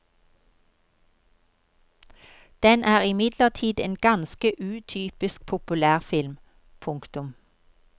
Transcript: Den er imidlertid en ganske utypisk populærfilm. punktum